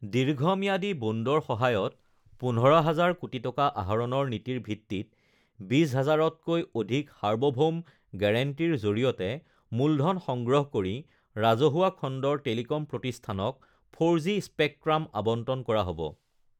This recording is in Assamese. দীৰ্ঘম্যাদী বণ্ডৰ সহায়ত ১৫০০০ কোটি টকা আহৰণৰ নীতিৰ ভিত্তিত ২০, ০০০তকৈ অধিক সাৰ্বভৌম গ্যাৰাণ্টিৰ জৰিয়তে মুলধন সংগ্ৰহ কৰি ৰাজহুৱা খণ্ডৰ টেলিকম প্ৰতিষ্ঠানক ৪জি স্পেকট্ৰাম আবণ্টন কৰা হ ব